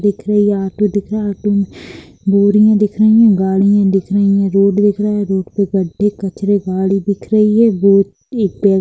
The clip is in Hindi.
देख रे --ये ऑटो दिख रहा है ऑटो में बोरियाँ दिख रही है गाड़ियाँ दिख रही है रोड दिख रहा है रोड पर गढ़े कचरे गाडी दिख रही है वो एक पे --